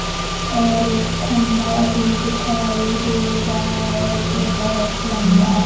और एक खंभा भी दिखाई दे रहा है जो बहोत लंबा--